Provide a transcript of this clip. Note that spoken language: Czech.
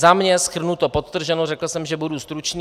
Za mě shrnuto, podtrženo, řekl jsem, že budu stručný.